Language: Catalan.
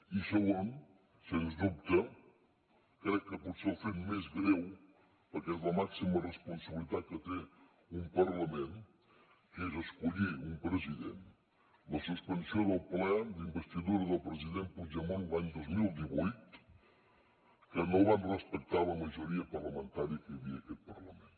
i segon sens dubte crec que potser el fet més greu perquè és la màxima responsabilitat que té un parlament que és escollir un president la suspensió del ple d’investidura del president puigdemont l’any dos mil divuit que no van respectar la majoria parlamentària que hi havia aquest parlament